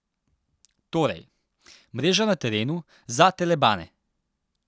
Torej: 'Mreža na terenu, za telebane'!